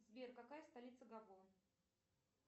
сбер какая столица габон